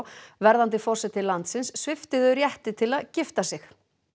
verðandi forseti landins svipti þau rétt til að gifta sig